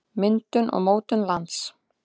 myndun og mótun lands